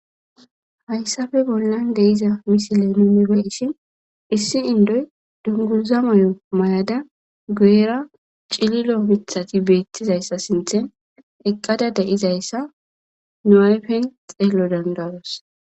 Hayssape bollan deyiza misileza nu beyishin issi ondda dunguza mayo mayada guyera cililo mithati beettizayssa garssen eqqada deyizayssa nu ayfey xeelo danda7ees.